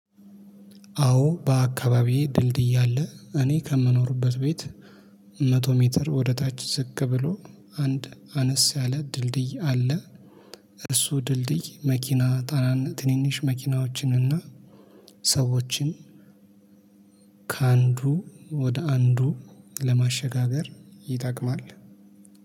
አዎ በአካባቢዬ ድልድይ አለ እኔ ከምኖርበት ቤት መቶ ሜትር ወደ ታች ዝቅ ብሎ አንድ አነስ ያለ ድልድይ አለ። እርሱ ድልድይ መኪና ታናና ትንንሽ መኪናዎችን እና ሰዎችን ከአንዱ ወደ አንዱ ለማሸጋገር ይጠቅማል።